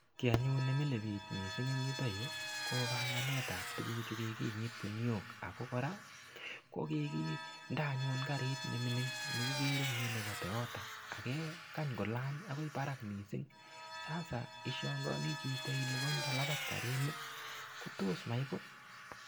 Kiy anyun mising' nemile piich en yotok yu ko panganet ab tuguk chu kiginyit guniok ako koraa ko kiginde anyun karit nemining' neigere en yu nepo Toyota nekigikany kolany akoy parak mising' sasa ishangaani chito ile koindalapat karit ni kotos maiput.